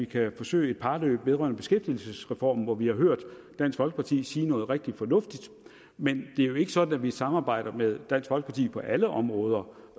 til at forsøge et parløb vedrørende beskæftigelsesreformen hvor vi har hørt dansk folkeparti sige noget rigtig fornuftigt men det er jo ikke sådan at vi samarbejder med dansk folkeparti på alle områder